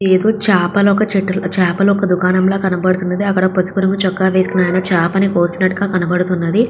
ఇదేదో చేపల ఒక చెట్టు చేపల దుకాణం లాగా కనపడతున్నది అక్కడ పసుపు రంగు చొక్కా వేసున్నాయన చేపని కోసినట్టుగా కనపడతున్నది.